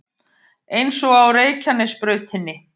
Eins og á Reykjanesbrautinni